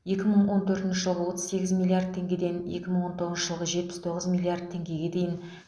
екі мың он төртінші жылғы отыз сегіз миллиард теңгеден екі мың он тоғызыншы жылғы жетпіс тоғыз миллиард теңгеге дейін